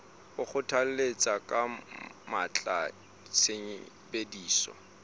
o kgothalletsa ka matla tshebediso